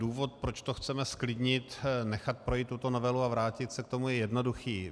Důvod, proč to chceme zklidnit, nechat projít tuto novelu a vrátit se k tomu, je jednoduchý.